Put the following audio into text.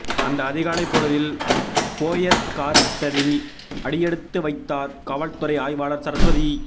அந்த அதிகாலைப் பொழுதில் போயஸ்கார்டனில் அடியெடுத்து வைத்தார் காவல்துறை ஆய்வாளர் சரஸ்வதி